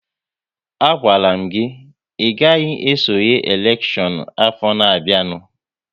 A gwala m gị, ị gaghị esonye n'elekshọn afọ na-bịanụ!